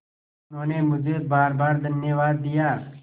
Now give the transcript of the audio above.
उन्होंने मुझे बारबार धन्यवाद दिया